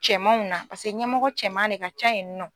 Cɛmanw na paseke ɲɛmɔgɔ cɛman ne ka ca yen nɔ.